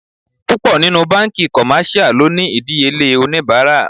Púpọ̀ nínú banki commercial lónìí idiyele onibara.